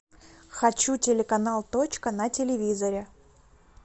хочу телеканал точка на телевизоре